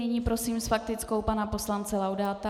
Nyní prosím s faktickou pana poslance Laudáta.